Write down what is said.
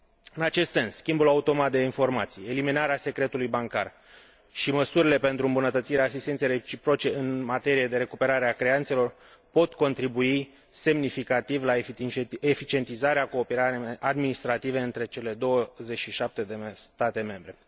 În acest sens schimbul automat de informații, eliminarea secretului bancar și măsurile pentru îmbunătățirea asistenței reciproce în materie de recuperare a creanțelor pot contribui semnificativ la eficientizarea cooperării administrative între cele 27 de state membre.